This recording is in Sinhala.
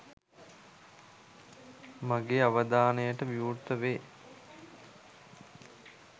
මගේ අවධානයට විවෘත වේ.